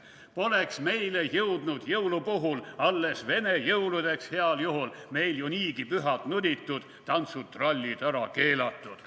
/ Poleks meile jõudnud jõulu puhul, / alles vene jõuludeks heal juhul, / meil ju niigi pühad nuditud, /tantsud-trallid ära keelatud.